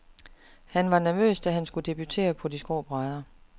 Han var nervøs, da han skulle debutere på de skrå brædder.